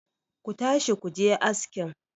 ku tashi ku je askin!